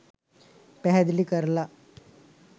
පැහැදිලි කරල